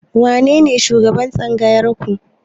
Wanene shugaban Tsangayar ku?